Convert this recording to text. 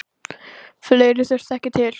Fleira þurfti ekki til.